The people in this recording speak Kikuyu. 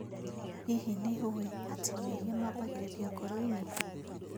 ĩ hihi nĩũĩ atĩ mehia mambagĩrĩria ngoro-inĩ?